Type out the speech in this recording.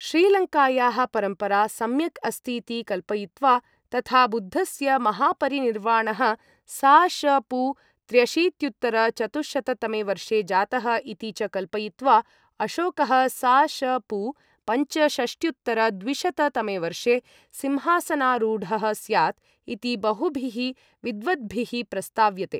श्रीलङ्कायाः परम्परा सम्यक् अस्तीति कल्पयित्वा, तथा बुद्धस्य महापरिनिर्वाणः सा.श.पू. त्र्यशीत्युत्तर चतुशत तमे वर्षे जातः इति च कल्पयित्वा, अशोकः सा.श.पू. पंच शष्ट्युत्तरद्विशत तमे वर्षे सिंहासनारूढः स्यात् इति बहुभिः विद्वद्भिः प्रस्ताव्यते।